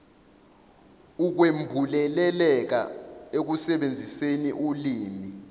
ukwembuleleka ekusebenziseni ulimi